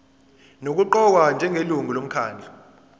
nokuqokwa njengelungu lomkhandlu